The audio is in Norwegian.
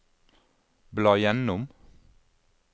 bla gjennom